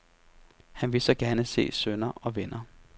Han vil så gerne se sønner og venner.